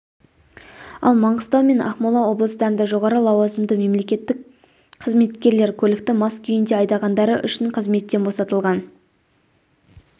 ал маңғыстау мен ақмола облыстарында жоғары лауазымды мемлекеттік қызметкерлер көлікті мас күйінде айдағандары үшін қызметтен босатылған